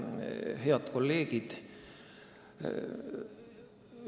Head kolleegid!